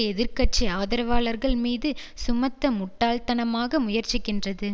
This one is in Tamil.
எதிர் கட்சி ஆதரவாளர்கள் மீது சுமத்த முட்டாள்தனமாக முயற்சிக்கின்றது